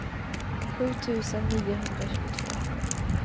sju tusen niohundratjugotvå